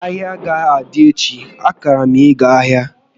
Ahịa agaghị adị echi, akara m ịga ahịa